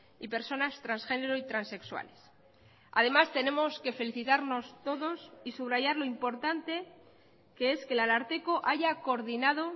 y personas transgénero y transexuales además tenemos que felicitarnos todos y subrayar lo importante que es que el ararteko haya coordinado